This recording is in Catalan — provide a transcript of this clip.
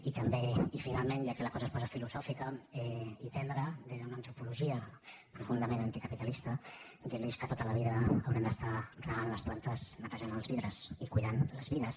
i finalment ja que la cosa es posa filosòfica i tendra des d’una antropologia profundament anticapitalista dir los que tota la vida haurem d’estar regant les plantes netejant els vidres i cuidant les vides